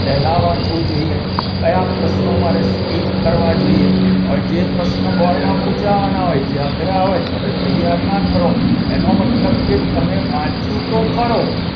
પહેલા વાંચવું જોઈએ કયા પ્રશ્નો મારે ટીક કરવા જોઈએ હવે જે પ્રશ્ન bord માં પુછાવાના હોય જે અઘરા હોય તમે તૈયાર ના કરો એનો મતલબ કે તમે વાંચ્યું તો ખરો